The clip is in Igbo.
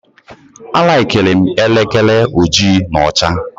A likirim elekere ojii na ọcha